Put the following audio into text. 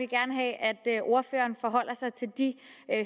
gerne have at ordføreren forholder sig til de